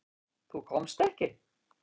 Þú komst ekki.